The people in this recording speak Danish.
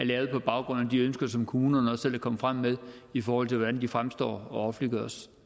lavet på baggrund af de ønsker som kommunerne selv er kommet frem med i forhold til hvordan de fremstår og offentliggøres